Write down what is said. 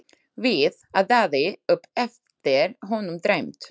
Við, át Daði upp eftir honum dræmt.